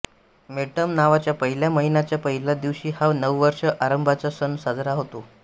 मेड्डम नावाच्या पहिल्या महिन्याच्या पहिल्या दिवशी हा नववर्ष आरंभाचा सण साजरा होतो